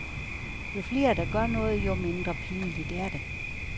Jo flere der gør noget, jo mindre pinligt er det.